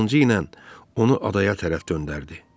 Qılıncı ilə onu adaya tərəf döndərdi.